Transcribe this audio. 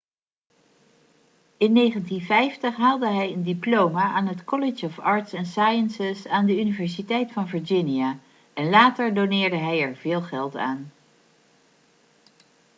in 1950 haalde hij een diploma aan het college of arts & sciences aan de universiteit van virginia en later doneerde hij er veel geld aan